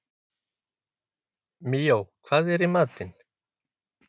Míó, hvað er í matinn?